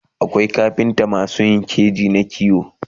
akwai kafintamasu Yin keji na kiwo